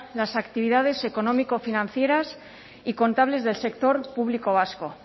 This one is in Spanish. las actividades económico financieras y contables del sector público vasco